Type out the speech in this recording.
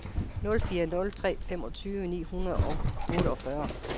nul fire nul tre femogtyve ni hundrede og otteogfyrre